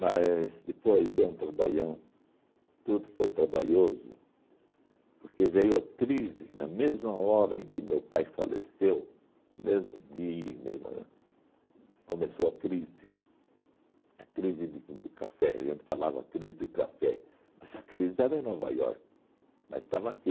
Mas depois deu um trabalhão, tudo foi trabalhoso, porque veio a crise, na mesma hora em que o meu pai faleceu, no mesmo dia, mesmo ãh, começou a crise, a crise de do café, a gente falava crise de café, mas a crise era em Nova York, mas estava aqui.